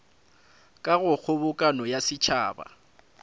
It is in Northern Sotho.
ka go kgobokano ya setšhaba